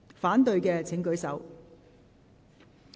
反對的請舉手。